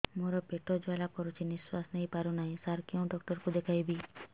ମୋର ପେଟ ଜ୍ୱାଳା କରୁଛି ନିଶ୍ୱାସ ନେଇ ପାରୁନାହିଁ ସାର କେଉଁ ଡକ୍ଟର କୁ ଦେଖାଇବି